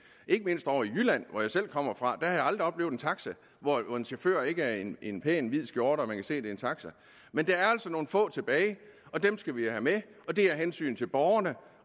ikke mindst ovre i jylland hvor jeg selv kommer fra har jeg aldrig oplevet en taxa hvor en chauffør ikke er i en pæn hvid skjorte og man kan se det er en taxa men der er altså nogle få tilbage og dem skal vi have med og det er af hensyn til borgerne